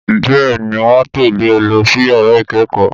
Bẹ́ẹ̀ ni, wọ́n ń tẹ̀lé e lọ sí yàrá ìkẹ́kọ̀ọ́